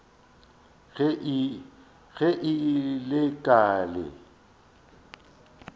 ge e le ka le